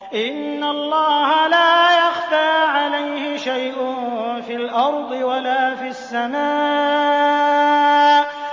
إِنَّ اللَّهَ لَا يَخْفَىٰ عَلَيْهِ شَيْءٌ فِي الْأَرْضِ وَلَا فِي السَّمَاءِ